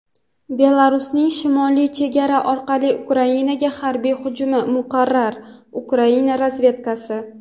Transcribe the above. Belarusning shimoliy chegara orqali Ukrainaga harbiy hujumi muqarrar – Ukraina razvedkasi.